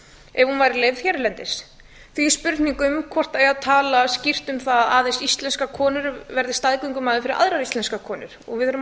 ef hún væri leyfð hérlendis því er spurning um hvort eigi að tala skýrt um það að aðeins íslenskar konur verði staðgöngumæður fyrir aðrar íslenskar konur og við erum að